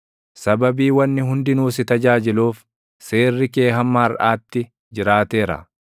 Sababii wanni hundinuu si tajaajiluuf, seerri kee hamma harʼaatti jiraateera.